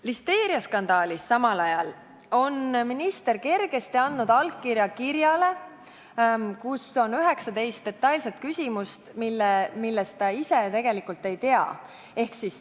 Listeeriaskandaalis on minister samal ajal kergesti andnud allkirja kirjale, kus on 19 detailset küsimust, millest ta ise tegelikult midagi ei tea.